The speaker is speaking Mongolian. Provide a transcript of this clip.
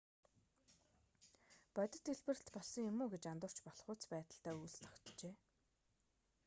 бодит дэлбэрэлт болсон юм уу гэж андуурч болохуйц байдалтай үүлс тогтжээ